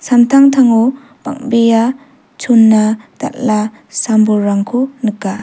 samtangtango bang·bea chona-dal·a sam-bolrangko nika.